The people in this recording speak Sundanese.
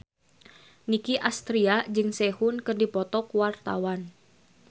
Nicky Astria jeung Sehun keur dipoto ku wartawan